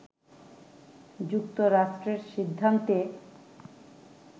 “যুক্তরাষ্ট্রের সিদ্ধান্তে